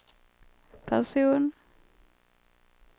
person